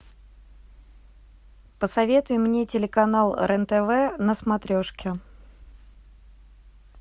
посоветуй мне телеканал рен тв на смотрешке